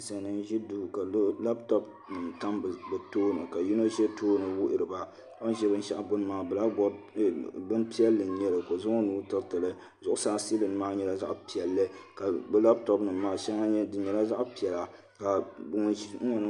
Ninsal nim n ʒi duu ka labtop nim tam bi tooni ka yino ʒɛ tooni wuhuriba o ni ʒɛ binshaɣu gbuni maa bini piɛlli n nyɛli ka o zaŋ o nuu tiritili zuɣusaa siilin maa nyɛla zaɣ piɛlli ka bi labtop nim maa di nyɛla zaɣ piɛla